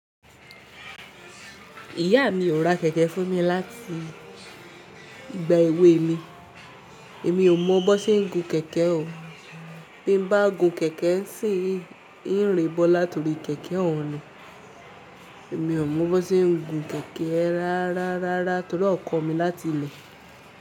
Ìyá mi ò ra kẹ̀kẹ́ fún mi láti ìgbà èwe mi. Èmi ò mọ bó ṣe ń gun kẹ̀kẹ́ o. Bí mo bá gun kẹ̀kẹ́ n ṣìn yii, ń rẹ bọ́ látori kẹ̀kẹ́ òun ni. Èmi ò mọ bó ṣe ń gun kẹ̀kẹ́ rárá rárá torí ọ kọ́ mi láti ilẹ̀.